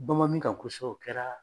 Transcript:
Banman min kan kosɛbɛ o kɛra